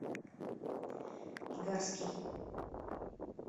игарский